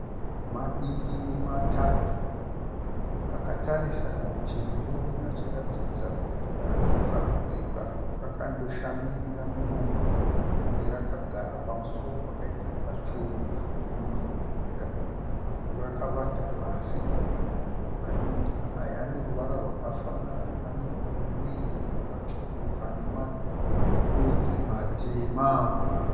Madingingwe matatu. Akatarisa rutivi rumwe achiratidza kuti ari kukahadzika akandoshamirira muromo. Rimwe rakagara pamusoro pakaita pachuru rimwe rakavata pasi. Madindingwe aya ane ruvara rwakafanana. Ane muviri wakatsvukuruka nemadodzi matema.